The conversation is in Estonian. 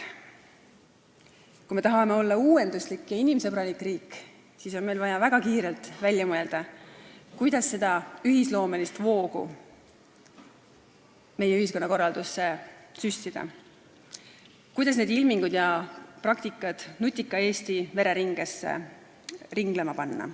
Kui me tahame olla uuenduslik ja inimsõbralik riik, siis on meil vaja väga kiirelt välja mõelda, kuidas seda ühisloomelist voogu meie ühiskonnakorraldusse süstida, kuidas need ilmingud ja praktikad nutika Eesti vereringesse ringlema panna.